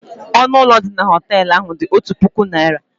Ọnụ ụlọ dị na họtel ahụ dị otu puku naira.